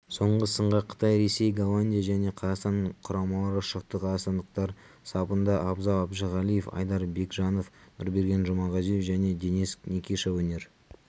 соңғы сынға қытай ресей голландия және қазақстан құрамалары шықты қазақстандықтар сапында абзал әжіғалиев айдар бекжанов нұрберген жұмағазиев және денис никиша өнер